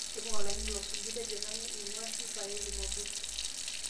tipika olaini losuju tejo nanu eingua sifaeli mwabuka